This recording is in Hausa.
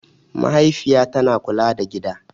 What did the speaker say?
Mahaifiya tana kula da gida.